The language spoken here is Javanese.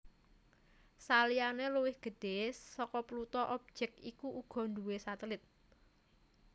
Saliyané luwih gedhé saka Pluto objèk iki uga nduwé satelit